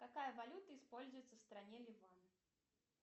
какая валюта используется в стране ливан